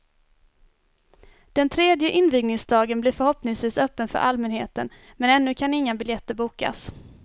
Den tredje invigningsdagen blir förhoppningsvis öppen för allmänheten men ännu kan inga biljetter bokas.